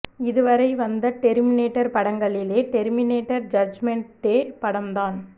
இதுவரை வந்த டெர்மினேடர் படங்களிலே டெர்மினேடர் ஜட்ஜ்மெண்ட் டே படம் தான்